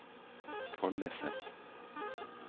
Follese